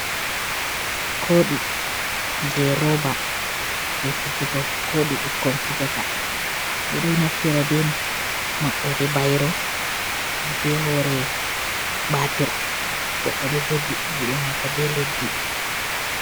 Kooɗi jey rooba, jey fijigo, kooɗi ɓukkon fijata ɓe ɗo naftira be maɓɓoode bayro, be hoore baatir, goɗɗo ɗo jogi haa juude maako be leddi.